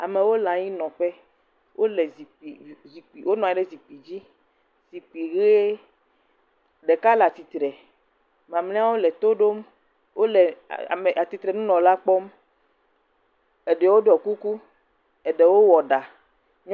Amewo le anyi nɔƒe. Wonɔ anyi ɖe zikpui ɣi me dzi. Zikpui ɣi ɖeka le atsitre, mamlɛwo le tɔ ɖom. Wòle ame atitre nunɔla kpɔm. Eɖewo ɖoe kuku, eɖewo wɔ ɖa.